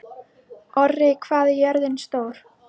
Orri, hvað er jörðin stór?